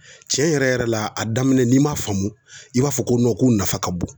Tiɲɛ yɛrɛ yɛrɛ la a daminɛ n'i ma faamu i b'a fɔ ko k'u nafa ka bon